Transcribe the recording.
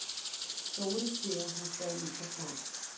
Dóri tré heimtaði líka svar.